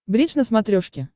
бридж на смотрешке